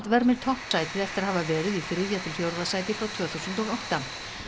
vermir toppsætið eftir að hafa verið í þriðja til fjórða sæti frá tvö þúsund og átta